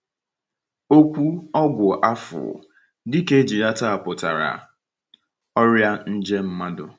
Okwu ọgwụ “afụ” dịka eji ya taa pụtara ọrịa nje mmadụ.